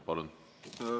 Palun!